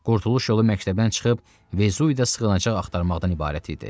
Qurtuluş yolu məktəbdən çıxıb Vežuyə sığınacaq axtarmaqdan ibarət idi.